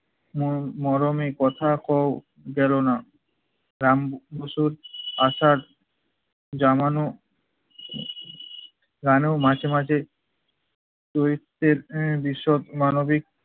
মর~ মর্মে কথা কও গেলোনা। রাম বসু আসার জানানো রানেও মাঝে মাঝে দরিদ্রের আহ বিষদ মানবিক